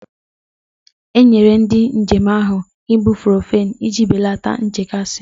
E nyere ndị njem ahụ ibuprofen iji belata nchekasị gị.